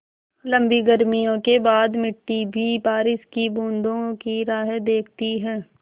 लम्बी गर्मियों के बाद मिट्टी भी बारिश की बूँदों की राह देखती है